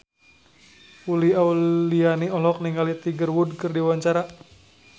Uli Auliani olohok ningali Tiger Wood keur diwawancara